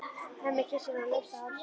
Hemmi kyssir hana laust á hálsinn.